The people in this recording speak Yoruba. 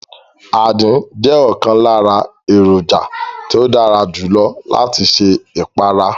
Àdín jẹ́ ọ̀kan lára èròjà tí ó dára jù lọ láti ṣe ìparí